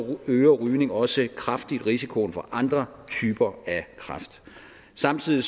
øger rygning også kraftigt risikoen for andre typer af kræft samtidig